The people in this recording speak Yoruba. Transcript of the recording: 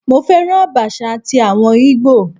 Mo féràn Àbàṣà ti àwọn Ìgbò.